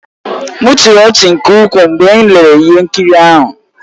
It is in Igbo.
M chịrị ọchị nke ukwuu mgbe m lere ihe nkiri ahụ